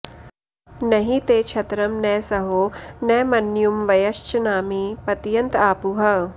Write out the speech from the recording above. नहि ते क्षत्रं न सहो न मन्युं वयश्चनामी पतयन्त आपुः